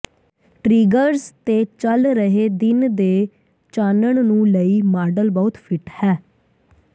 triggers ਤੇ ਚੱਲ ਰਹੇ ਦਿਨ ਦੇ ਚਾਨਣ ਨੂੰ ਲਈ ਮਾਡਲ ਬਹੁਤ ਫਿੱਟ ਹੈ